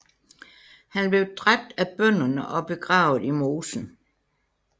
Han blev dræbt af bønderne og begravet i mosen